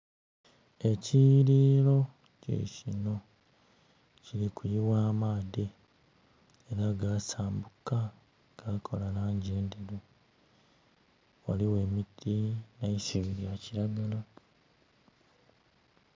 Ekiyiririro kikino, kiri kuyigha amaadhi era gasambuka, gakola langi endheru. Ghaligho emiti neisubi lya kiragala.